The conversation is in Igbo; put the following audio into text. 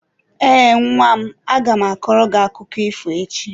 Ee, nwa m. Aga m akọrọ gị akụkọ ifo echi.